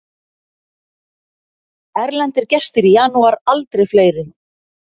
Erlendir gestir í janúar aldrei fleiri